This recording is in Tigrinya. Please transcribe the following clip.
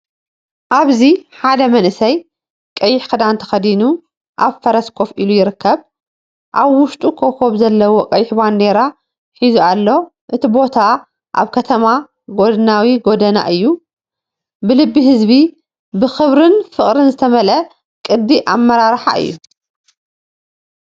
ኣብዚ ሓደ መንእሰይ ቀይሕ ክዳን ተኸዲኑ ኣብ ፈረስ ኮፍ ኢሉ ይርከብ። ኣብ ውሽጡ ኮኾብ ዘለዎ ቀይሕ ባንዴራ ሒዙ ኣሎ። እቲ ቦታ ኣብታ ከተማ ጎድናዊ ጎደና እዩ። ብልቢ ህዝቢ፣ ብኽብርን ፍቕርን ዝተመልአ ቅዲ ኣመራርሓ እዩ።